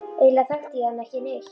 Eiginlega þekkti ég hann ekki neitt.